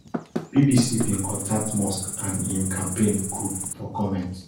bbc bin contact musk and im campaign group for comment